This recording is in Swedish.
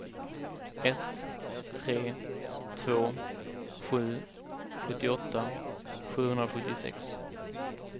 ett tre två sju sjuttioåtta sjuhundrasjuttiosex